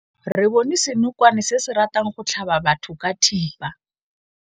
Re bone senokwane se se ratang go tlhaba batho ka thipa.